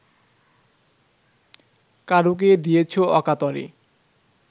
কারুকে দিয়েছ অকাতরে